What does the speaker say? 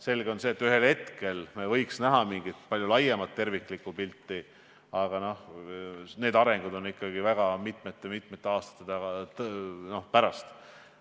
Selge see, et ühel hetkel me võiksime näha palju laiemat tervikpilti, kuid see on võimalik ikkagi mitmete-mitmete aastate pärast.